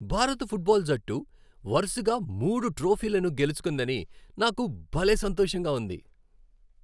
భారత ఫుట్బాల్ జట్టు వరుసగా మూడు ట్రోఫీలను గెలుచుకుందని నాకు భలే సంతోషంగా ఉంది.